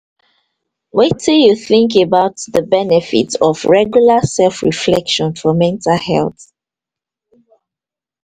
wetin you think about di benefit of regular self reflection for mental health